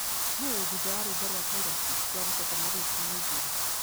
nũ wĩthũtha wa rwĩmbo rwa taylo swift rwa gũcoka mweri wa ikũmi na igĩrĩ